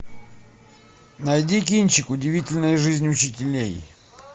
найди кинчик удивительная жизнь учителей